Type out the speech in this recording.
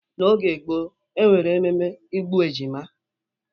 Oge gboo, e nwere emume igbu ejima